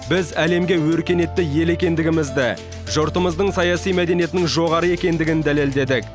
біз әлемге өркениетті ел екендігімізді жұртымыздың саяси мәдениетінің жоғары екендігін дәлелдедік